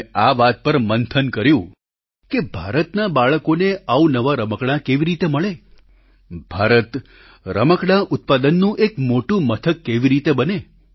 અમે આ વાત પર મંથન કર્યું કે ભારતના બાળકોને અવનવા રમકડાં કેવી રીતે મળે ભારત રમકડાં ઉત્પાદનનું એક મોટું મથક કેવી રીતે બને